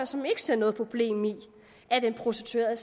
som ikke ser noget problem i at en prostitueret